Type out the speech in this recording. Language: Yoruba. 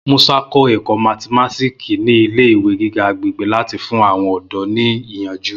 Musa kọ ẹkọ mathimatiki ni ile-iwe giga agbegbe lati fun awọn ọdọ ni iyanju.